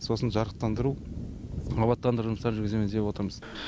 сосын жарықтандыру абаттандыру жұмыстарын жүргіземіз деп отырмыз